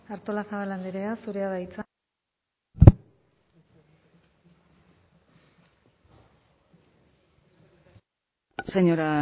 artolazabal andrea zurea da hitza señora